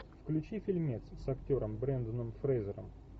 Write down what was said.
включи фильмец с актером бренданом фрейзером